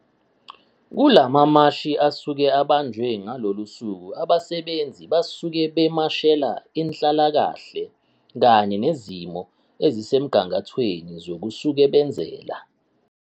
kulamamashi asuke ebanjwe ngalolu suku abasebenzi basuke bemashela inhlalakahle kanye nezimo ezisemgangathweni zokusukebenzela.